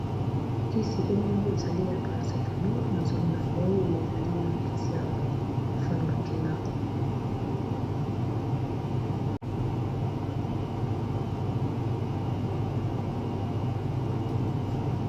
Kisi oyo ezali ya paracetamol na zomona ngo oyo ezali kisi ya pharmakina.